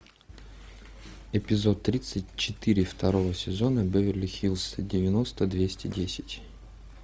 эпизод тридцать четыре второго сезона беверли хиллз девяносто двести десять